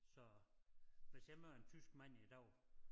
Så hvis jeg var en tysk mand i dag